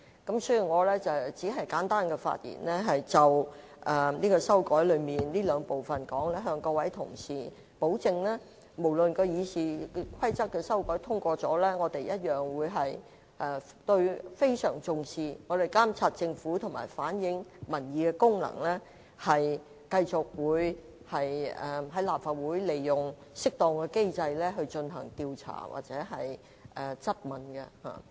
我是次簡單發言，是要就今次修訂中這兩個部分，向各位同事保證即使《議事規則》的修訂獲得通過，我們仍會相當重視監察政府和反映民意的功能，繼續在立法會利用適當機制進行調查或質詢。